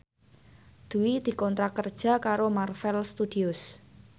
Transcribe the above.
Dwi dikontrak kerja karo Marvel Studios